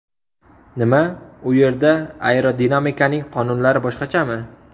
Nima, u yerda aerodinamikaning qonunlari boshqachami?